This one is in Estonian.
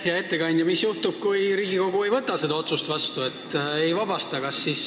Hea ettekandja, mis juhtub, kui Riigikogu ei võta seda otsust vastu, ei vabasta teda ametist?